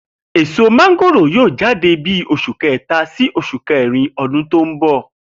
Èso mángòrò yóò jáde ní bí os̩ù è̩ké̩ta sí e̩ké̩rin o̩dún tó ń bò̩